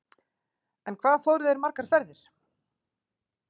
En hvað fóru þeir margar ferðir?